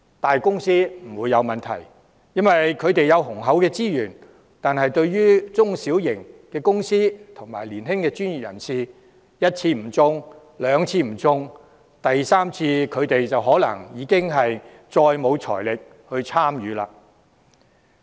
大公司不會有困難應付有關開支，因為他們有雄厚的資源，但對於中小型公司和年輕的專業人士，一次不中標、兩次不中標，第三次他們可能已再無財力參與。